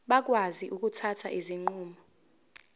bakwazi ukuthatha izinqumo